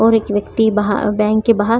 और एक व्यक्ति बाह बैंक के बाहर --